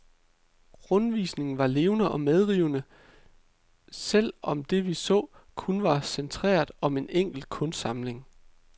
Rundvisningen var levende og medrivende, selv om det vi så, kun var centreret om en enkelt kunstsamling.